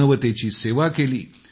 मानवतेची सेवा केली